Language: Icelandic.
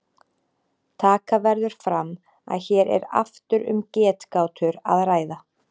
Taka verður fram að hér er aftur um getgátur að ræða.